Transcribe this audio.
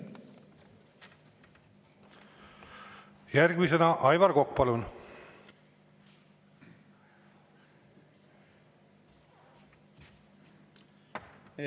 Järgmisena Aivar Kokk, palun!